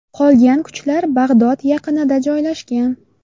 Qolgan kuchlar Bag‘dod yaqinida joylashgan.